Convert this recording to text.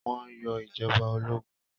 Wọ́n yọ ìjọba ológun?